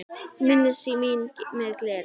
Minnist mín með gleði.